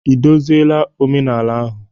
Ị dozila omenala ahụ?